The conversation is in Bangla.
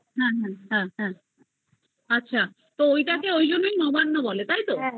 হ্যা হ্যা হ্যা আচ্ছা তো ওটাকে ঐজন্য এই নবান্ন বলে তাই তো